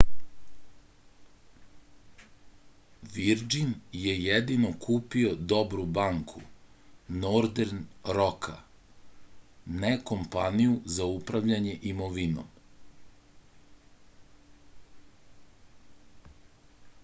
virdžin je jedino kupio dobru banku nordern roka ne kompaniju za upravljanje imovinom